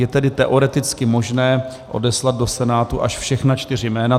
Je tedy teoreticky možné odeslat do Senátu až všechna čtyři jména.